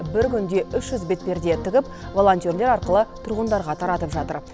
бір күнде үш жүз бетперде тігіп волонтерлер арқылы тұрғындарға таратып жатыр